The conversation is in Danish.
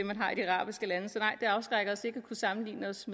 afskrækker os ikke at kunne sammenligne os